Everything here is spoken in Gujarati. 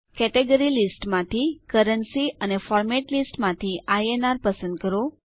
કેટેગરી લિસ્ટ માંથી કરન્સી અને ફોર્મેટ લિસ્ટ માંથી આઇએનઆર પસંદ કરો